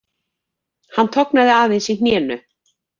Hann tognaði aðeins í hnénu